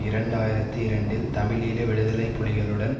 இரண்டு ஆயிரத்தி இரண்டில் தமிழீழ விடுதலை புலிகளுடன்